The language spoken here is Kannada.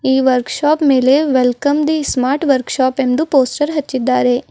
ಈ ವರ್ಕ್ ಶಾಪ್ ಮೇಲೆ welcome the smart workshop ಎಂದು ಪೋಸ್ಟರ್ ಹಚ್ಚಿದ್ದಾರೆ.